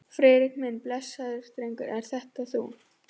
Friðrik minn, blessaður drengurinn, ert þetta þú?